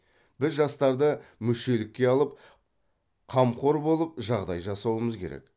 біз жастарды мүшелікке алып қамқор болып жағдай жасауымыз керек